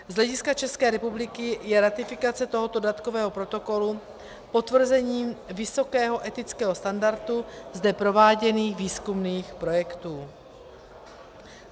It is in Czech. Z hlediska České republiky je ratifikace tohoto dodatkového protokolu potvrzením vysokého etického standardu zde prováděných výzkumných projektů.